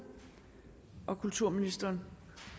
kulturministeren